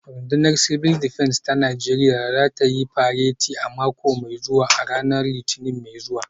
Rundunar Civil Defence ta Najeriya za ta yi fareti a mako mai zuwa a ranar Litinin mai zuwa